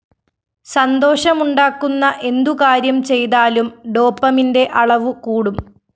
സന്തോഷമുണ്ടാക്കുന്ന എന്തുകാര്യം ചെയ്താലും ഡോപമിന്റെ അളവു കൂടും